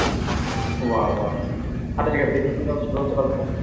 wow wow আচ্ছা ঠিকাছে দেখি কিভাবে শুরু হচ্ছে গল্পটা